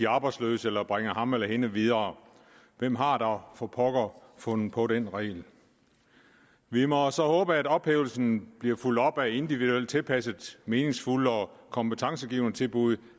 arbejdsløse eller bringer ham eller hende videre hvem har dog for pokker fundet på den regel vi må så håbe at ophævelsen bliver fulgt op af individuelt tilpassede meningsfulde og kompetencegivende tilbud